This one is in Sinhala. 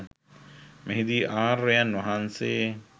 මෙහිදී ආර්යයන් වහන්සේ